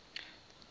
udick